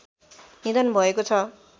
निधन भएको छ